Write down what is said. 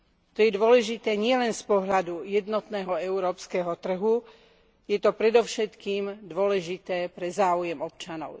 To je dôležité nielen z pohľadu jednotného európskeho trhu, je to predovšetkým dôležité pre záujem občanov.